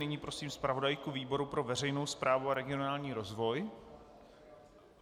Nyní prosím zpravodajku výboru pro veřejnou správu a regionální rozvoj.